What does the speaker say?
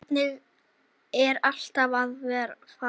Hvert eru allir að fara?